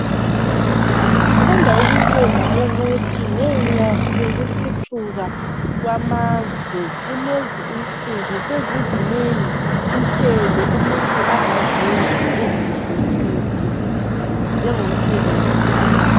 Sithanda ukubonga ukuthi ngenxa yokuthuthuka kwamazwe kulezi insuku sezizinengi inhlelo umuntu angazenza eyunivesithi njengomsebenzi